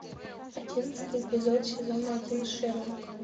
одиннадцатый эпизод сезона один шерлок